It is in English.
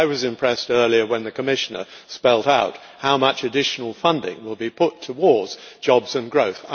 I was impressed earlier when the Commissioner spelt out how much additional funding would be put towards jobs and growth.